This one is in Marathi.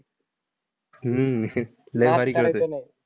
हम्म लई भारी खेळतोय.